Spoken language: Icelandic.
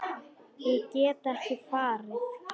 Ég get ekki farið.